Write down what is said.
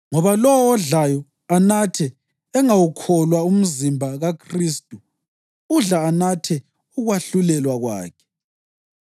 Ngoba lowo odlayo anathe engawukholwa umzimba kaKhristu udla anathe ukwahlulelwa kwakhe.